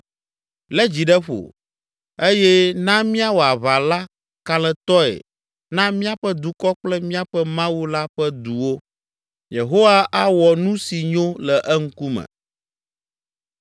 Lé dzi ɖe ƒo, eye na míawɔ aʋa la kalẽtɔe na míaƒe dukɔ kple míaƒe Mawu la ƒe duwo. Yehowa awɔ nu si nyo le eŋkume.”